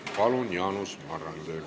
Palun, Jaanus Marrandi!